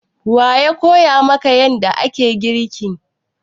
Wa ya koya maka yanda ake girki?